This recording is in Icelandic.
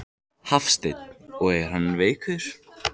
Hafsteinn: Og er hann veikur?